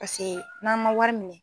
Paseke n'an man wari minɛ.